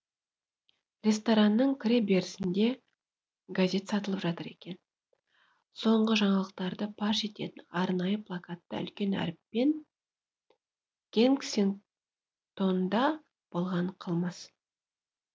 ресторанның кіре берісінде газет сатылып жатыр екен соңғы жаңалықтарды паш ететін арнайы плакатта үлкен әріптермен кенсингтонда болған қылмыс